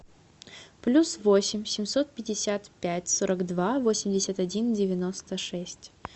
плюс восемь семьсот пятьдесят пять сорок два восемьдесят один девяносто шесть